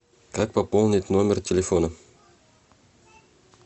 как пополнить номер телефона